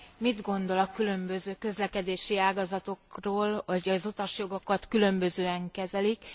Mit gondol a különböző közlekedési ágazatokról, hogy az utasjogokat különbözően kezelik.